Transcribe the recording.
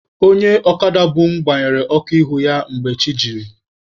Onye ọkada bu mụ gbanyere ọkụ ihu ya mgbe chi jiri.